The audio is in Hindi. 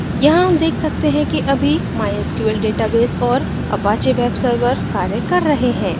यहाँ हम web सकते हैं कि अभी mysql database और apache web server कार्य कर रहे हैं